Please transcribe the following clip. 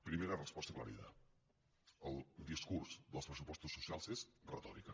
primera resposta aclarida el discurs dels pressupostos socials és retòrica